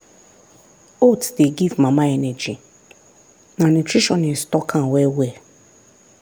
oats dey give mama energy na nutritionist talk am well well.